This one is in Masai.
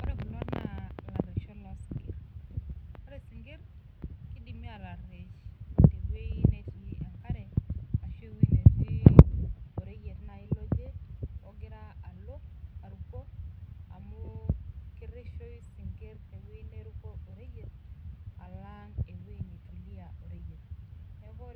Ore Kuna na ngaruesho losinkir orw sinkir kidimi ataruesh teoi natii enkare ashu tewoi natii oreyiet nai loje ogira aruko, neaku